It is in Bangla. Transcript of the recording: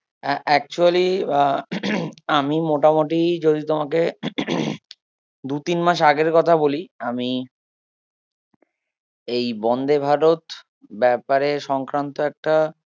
আ~ actually আহ আমি মোটামুটি যদি তোমাকে দু তিন মাস আগের কথা বলি আমি এই বন্দে ভারত ব্যাপারে সংক্রান্ত একটা